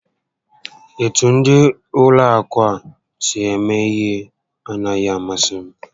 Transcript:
Etu ndị Ụlọ akụ a si eme ihe a naghị amasị m